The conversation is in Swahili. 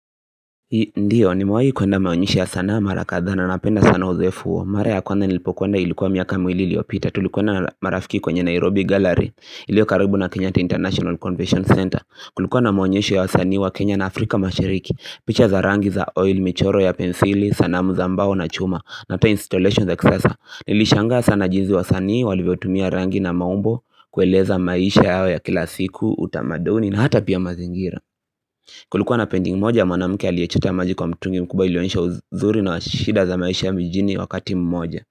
Ndiyo nimewai kuenda maonyesha ya sanaa mara kadhaa na napenda sana uzoefu huo Mara ya kwanza nilipokuenda ilikuwa miaka miwili iliopita tulikoenda na marafiki kwenye Nairobi Gallery ilio karibu na Kenyatta International Convention Center Kulikuwa na maonyesho ya wasanii wa Kenya na Afrika mashiriki picha za rangi za oil, michoro ya pensili, sanamu za mbao na chuma na ata installation za kisasa Nilishangaa sana jinsii wasanii walivyotumia rangi na maumbo kueleza maisha yao ya kila siku, utamaduni na hata pia mazingira Kulikuwa na painting moja ya manamke aliyechota maji kwa mtungi mkubwa ilionesha uzuri na wa shida za maisha ya kiijini wakati mmoja.